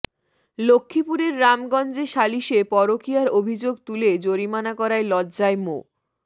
লক্ষ্মীপুরের রামগঞ্জে সালিশে পরকীয়ার অভিযোগ তুলে জরিমানা করায় লজ্জায় মো